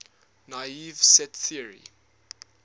naive set theory